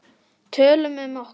Tölum um okkur.